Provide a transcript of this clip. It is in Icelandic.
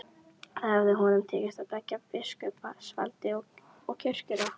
Þá hefði honum tekist að beygja biskupsvaldið og kirkjuna.